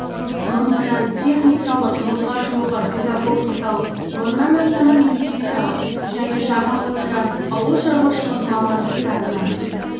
мың грант техникалық мыңға жуығы педагогикалық мыңнан астамы медициналық және жарым мың грант ауылшаруашылық мамандықтарына